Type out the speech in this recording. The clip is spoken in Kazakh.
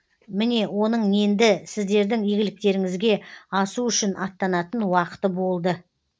міне оның енді сіздердің игіліктеріңізге асу үшін аттанатын уақыты болды